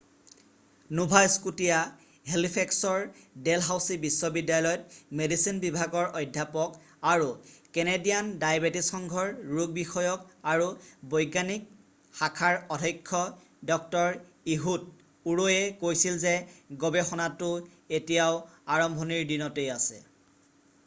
Nova Scotia হেলিফেক্সৰ Dalhousie বিশ্ববিদ্যালয়ত medicine বিভাগৰ অধ্যাপক আৰু কেনেদিয়ান ডায়েবেটিচ সংঘৰ ৰোগবিষয়ক আৰু বৈজ্ঞানিক শাখাৰ অধক্ষ ডঃ ইহুদ ওৰয়ে কৈছিল যে গৱেষণাতো এতিয়াও প্ৰাৰম্ভণিৰ দিনতেই আছে